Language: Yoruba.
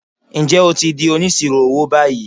Ǹjẹ́ o ti di Onísirò owó báyìí?